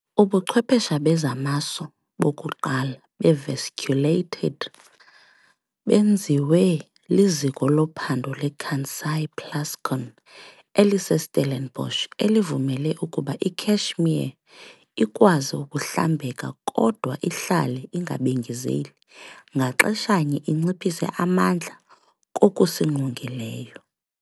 Ubuchwephesha bezamaso bokuqala beVesiculated benziwe liZiko loPhando leKansai Plascon eliseStellenbosch elivumele ukuba iCashmere ikwazi ukuhlambeka, kodwa ihlale ingabengezeli, ngaxesha-nye inciphise amandla kokusingqongileyo .